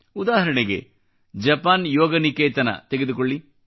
ಉದಾಹರಣೆಗೆ ಜಪಾನ್ ಯೋಗನಿಕೇತನ ತೆಗೆದುಕೊಳ್ಳಿ